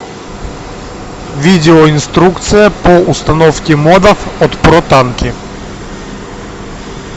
видеоинструкция по установке модов от протанки